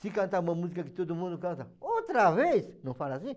Se cantar uma música que todo mundo canta, outra vez, não fala assim?